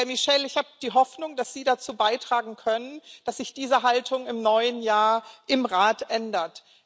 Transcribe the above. Herr Michel, ich habe die Hoffnung, dass Sie dazu beitragen können, dass sich diese Haltung im neuen Jahr im Rat ändert.